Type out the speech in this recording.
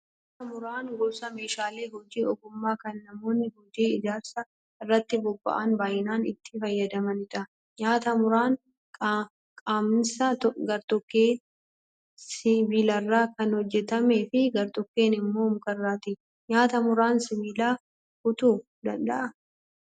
Nyaataa muraan gosa meeshaalee hojii ogummaa kan namoonni hojii ijaarsaa irratti bobba'an baay'inaan itti fayyadamanidha. Nyaataa muraan qaamnisaa gartokkeen sibiilarraa kan hojjatamee fi gartokkeen immoo mukarraati. Nyaataa muraan sibiila kutuu danda'aa?